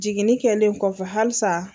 Jiginni kɛlen kɔfɛ hali sa.